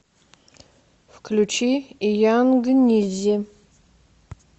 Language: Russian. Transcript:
включи янгнизи